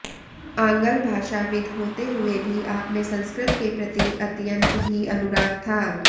आंग्लभाषाविद् होते हुए भी आपमें संस्कृत के प्रति अत्यंत ही अनुराग था